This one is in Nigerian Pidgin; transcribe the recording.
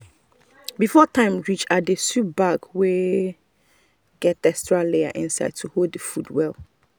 before time reach i dey sew bag wey get extra layer inside to hold the food well.